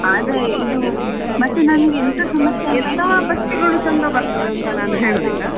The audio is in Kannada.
ಹಾ ಆದ್ರೆ ಇದು ಮತ್ತೆ ನಮ್ಗೆ ಎಂತ ಸಮಸ್ಯೆ